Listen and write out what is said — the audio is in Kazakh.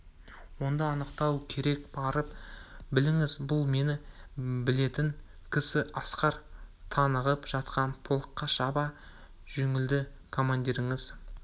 онда анықтау керек барып біліңіз бұл мені білетін кісі асқар тынығып жатқан полкқа шаба жөнелді командирлеріңіз